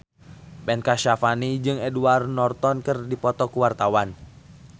Ben Kasyafani jeung Edward Norton keur dipoto ku wartawan